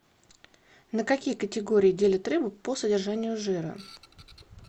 на какие категории делят рыбу по содержанию жира